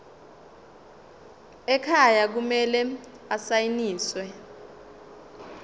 ekhaya kumele asayiniwe